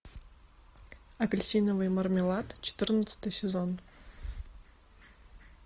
апельсиновый мармелад четырнадцатый сезон